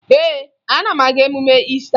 Ee, ana m aga emume Iista